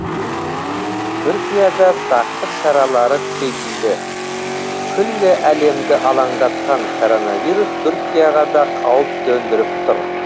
түркияда сақтық шаралары күшейтілді күллі әлемді алаңдатқан коронавирус түркияға да қауіп төндіріп тұр